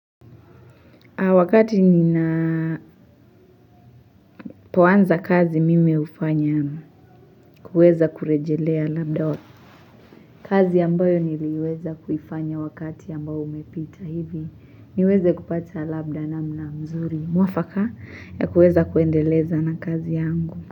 Wakati ninapoanza kazi mimi hufanya kueza kurejelea labda kazi ambayo niliweza kuifanya wakati ambao umepita hivi niweze kupata labda namna mzuri. Mwafaka ya kueza kuendeleza na kazi yangu.